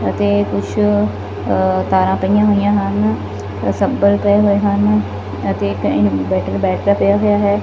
ਅਤੇ ਕੁਛ ਅ ਤਾਰਾਂ ਪਾਇਆਂ ਹੋਈਆਂ ਹਨ ਸੱਬਲ ਪਏ ਹੋਏ ਹਨ ਅਤੇ ਕਹੀਂ ਬੈਟਰ ਬੈਟਰਾ ਪਿਆ ਹੋਇਆ ਹੈ।